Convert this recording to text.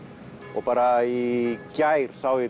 og bara í gær sá ég